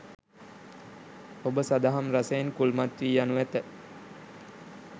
ඔබ සදහම් රසයෙන් කුල්මත් වී යනු ඇත